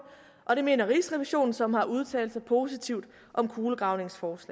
og det mener rigsrevisionen som har udtalt sig positivt om kulegravningsgruppens